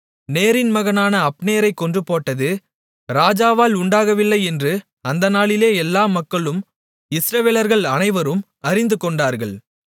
நேரின் மகனான அப்னேரைக் கொன்றுபோட்டது ராஜாவால் உண்டாகவில்லை என்று அந்த நாளிலே எல்லா மக்களும் இஸ்ரவேலர்கள் அனைவரும் அறிந்துகொண்டார்கள்